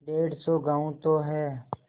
डेढ़ सौ गॉँव तो हैं